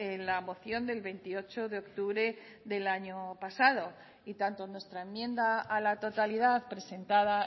en la moción del veintiocho de octubre del año pasado y tanto en nuestra enmienda a la totalidad presentada